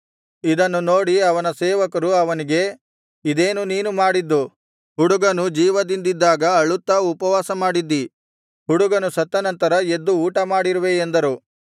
ಇದನ್ನು ನೋಡಿ ಅವನ ಸೇವಕರು ಅವನಿಗೆ ಇದೇನು ನೀನು ಮಾಡಿದ್ದು ಹುಡುಗನು ಜೀವದಿಂದಿದ್ದಾಗ ಅಳುತ್ತಾ ಉಪವಾಸಮಾಡಿದ್ದೀ ಹುಡುಗನು ಸತ್ತ ನಂತರ ಎದ್ದು ಊಟ ಮಾಡಿರುವೆ ಎಂದರು